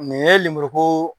Nin ye limuruko